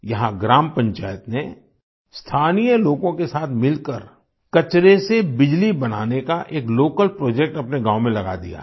यहाँ ग्राम पंचायत ने स्थानीय लोगों के साथ मिलकर कचरे से बिजली बनाने का एक लोकल प्रोजेक्ट अपने गाँव में लगा दिया है